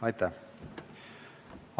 Aitäh!